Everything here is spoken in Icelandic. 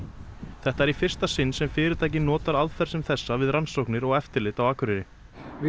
þetta er í fyrsta sinn sem fyrirtækið notar aðferð sem þessa við rannsóknir og eftirlit á Akureyri við